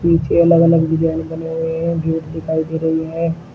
पीछे अलग अलग डिजाइन बनी हुई है जो दिखाई दे रही है।